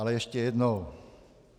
Ale ještě jednou.